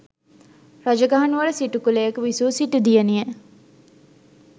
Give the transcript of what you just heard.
රජගහනුවර සිටු කුලයක විසූ සිටු දියණිය